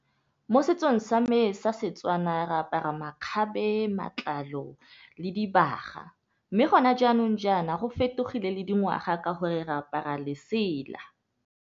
Mo setsong sa me sa Setswana re apara makgabe, matlalo le dibaga. Mme gona jaanong jaana go fetogile le dingwaga ka gore re apara lesela.